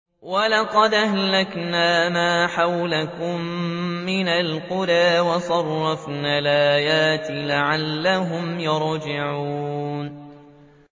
وَلَقَدْ أَهْلَكْنَا مَا حَوْلَكُم مِّنَ الْقُرَىٰ وَصَرَّفْنَا الْآيَاتِ لَعَلَّهُمْ يَرْجِعُونَ